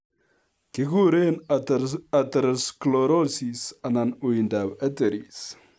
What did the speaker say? Kiguren atherosclerosis anan uindab arteries